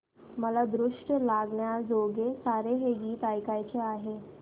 मला दृष्ट लागण्याजोगे सारे हे गीत ऐकायचे आहे